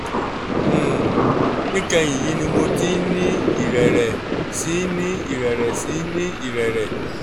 um níkẹyìn yìí ni mo ti ń ní ìrẹ̀rẹ̀ sí í ní ìrẹ̀rẹ̀ sí í ní ìrẹ̀rẹ̀